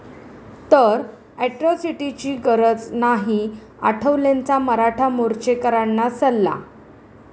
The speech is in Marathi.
...तर अॅट्रॉसिटीची गरज नाही, आठवलेंचा मराठा मोर्चेकरांना सल्ला